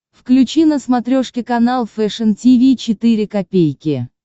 включи на смотрешке канал фэшн ти ви четыре ка